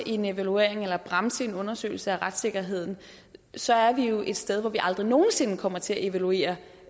en evaluering eller bremse en undersøgelse af retssikkerheden så er vi jo et sted hvor vi aldrig nogen sinde kommer til at evaluere